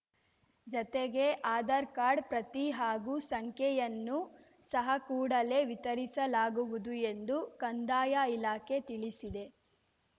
ಜೊತೆಗೆ ಆಧಾರ್‌ ಕಾರ್ಡ್‌ ಪ್ರತಿ ಹಾಗೂ ಸಂಖ್ಯೆಯನ್ನೂ ಸಹ ಕೂಡಲೇ ವಿತರಿಸಲಾಗುವುದು ಎಂದು ಕಂದಾಯ ಇಲಾಖೆ ತಿಳಿಸಿದೆ